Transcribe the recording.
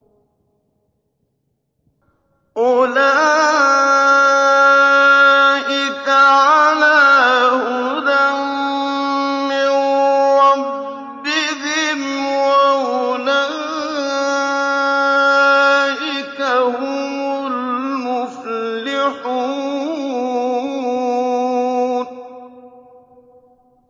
أُولَٰئِكَ عَلَىٰ هُدًى مِّن رَّبِّهِمْ ۖ وَأُولَٰئِكَ هُمُ الْمُفْلِحُونَ